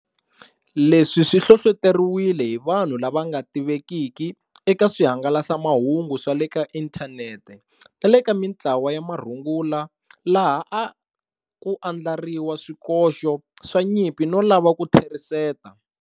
Leswi swi hlohloteriwile hi vanhu lava nga tivekiki eka swi hangalasamahungu swa le ka inthanete nale ka mitlawa ya marungula laha a ku andlariwa swikoxo swa nyimpi no lava ku tlheriseta.